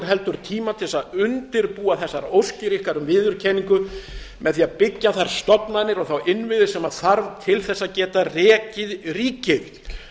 heldur tíma til þess að undirbúa þessar óskir ykkar um viðurkenningu með því að byggja þá stofnanir og þá innviði sem þarf til þess að geta rekið ríki